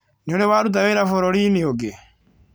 Nĩ ũrĩ waruta wĩra bũrũri-inĩ ũngĩ?